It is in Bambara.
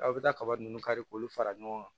Aw bɛ taa kaba ninnu kari k'olu fara ɲɔgɔn kan